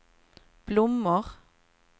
blommor